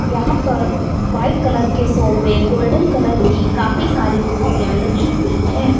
यहां पर white colour के सोफे गोल्डन कलर की काफी सारी कुर्सियां लगी हुई है।